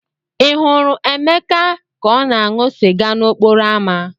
Ị hụrụ emeka ka ọ na-aṅụ sịga n'okporo ámá?